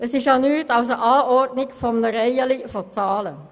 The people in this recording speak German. Sie ist ja nichts als die Anordnung einer Reihe von Zahlen.